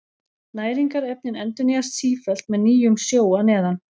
Næringarefnin endurnýjast sífellt með nýjum sjó að neðan.